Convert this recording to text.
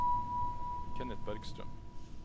Kenneth Bergstrøm